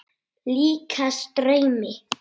Líkast draumi.